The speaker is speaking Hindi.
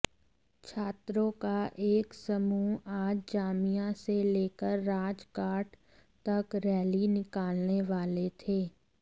छात्रों का एक समूह आज जामिया से लेकर राजघाट तक रैली निकालने वाले थे